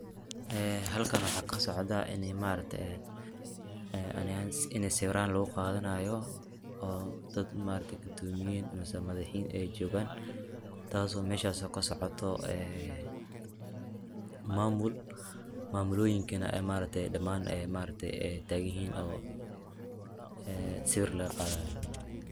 Ee halkan waxaa kasocda ma aragte ani ahan ini sawiraan lugu qadanayo oo dad ma aragte gudomiyjn mise madaxiin ay jogaan taaso meshas oo kasocoto ee mamul, mamulooyinka ma aragte dhamaan ay tagan yihiin oo sawir laga qaday